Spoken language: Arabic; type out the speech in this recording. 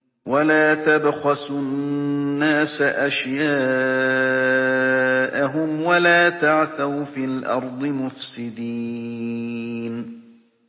وَلَا تَبْخَسُوا النَّاسَ أَشْيَاءَهُمْ وَلَا تَعْثَوْا فِي الْأَرْضِ مُفْسِدِينَ